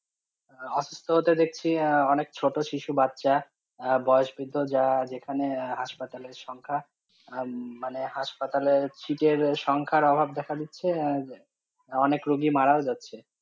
অসুস্থ হতে দেখছি, অনেক ছোট শিশু বাচ্চা, বয়স বৃদ্ধ যা যেখানে হাসপাতালের সংখ্যা মানে হাসপাতালের সিটের সংখ্যার অভাব দেখা দিচ্ছে, অনেক রুগী মারা ও যাচ্ছে।